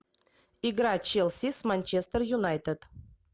игра челси с манчестер юнайтед